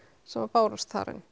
sem að bárust þar inn